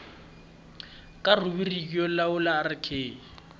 kaya rhubiriki yo lawula rk